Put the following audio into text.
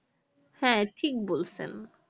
হ্যাঁ ঠিক বলছেন